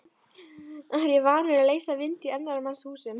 Er ég vanur að leysa vind í annarra manna húsum?